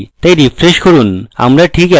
তাই refresh করুন আমরা ঠিক একই ফলাফল পাই